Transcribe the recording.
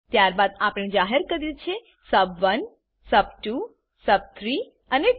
ત્યારબાદ આપણે જાહેર કર્યું છે સબ1 સબ2 સબ3 અને ટોટલ